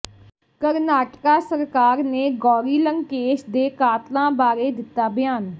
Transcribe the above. ਕਰਨਾਟਕਾ ਸਰਕਾਰ ਨੇ ਗੌਰੀ ਲੰਕੇਸ਼ ਦੇ ਕਾਤਲਾਂ ਬਾਰੇ ਦਿੱਤਾ ਬਿਆਨ